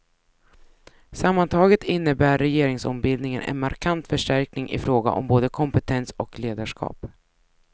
Sammantaget innebär regeringsombildningen en markant förstärkning i fråga om både kompetens och ledarskap.